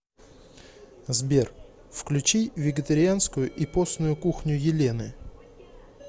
сбер включи вегетарианскую и постную кухню елены